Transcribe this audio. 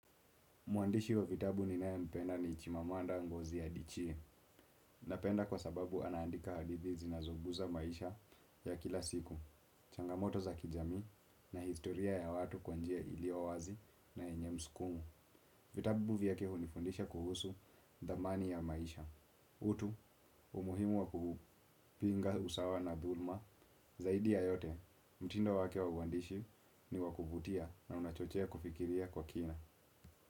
Mwandishi wa vitabu ninayempenda ni Chimamanda Ngozi Adichie. Napenda kwa sababu anaandika hadithi zinazoguza maisha ya kila siku. Changamoto za kijamii na historia ya watu kwa njia iliyo wazi na enye mskumo. Vitabu vyake hunifundisha kuhusu dhamani ya maisha. Utu, umuhimu wa kupinga usawa na dhulma. Zaidi ya yote, mtindo wake wa uandishi ni wa kuvutia na unachochea kufikiria kwa kina.